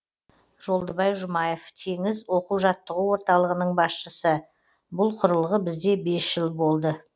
жолдыбай жұмаев теңіз оқу жаттығу орталығының басшысы бұл құрылғы бізде бес жыл болды